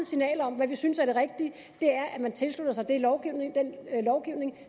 signal om hvad vi synes er det rigtige og man tilslutter sig den lovgivning